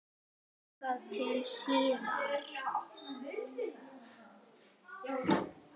Þangað til síðar.